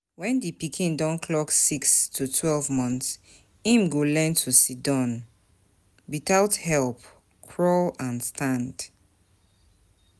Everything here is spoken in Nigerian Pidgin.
When di pikin don clock six to twelve months, im go learn to sidon without help, crawl and stand